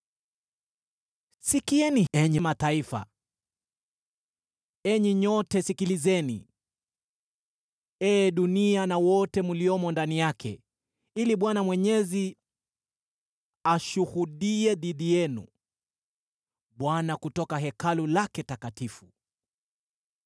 Sikieni, enyi mataifa, enyi nyote, sikilizeni, ee dunia na wote mliomo ndani yake, ili Bwana Mwenyezi ashuhudie dhidi yenu, Bwana kutoka Hekalu lake takatifu.